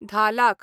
धा लाख